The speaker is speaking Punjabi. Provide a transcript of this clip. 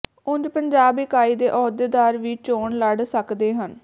ਉਂਜ਼ ਪੰਜਾਬ ਇਕਾਈ ਦੇ ਅਹੁਦੇਦਾਰ ਵੀ ਚੋਣ ਲੜ ਸਕਦੇ ਹਨ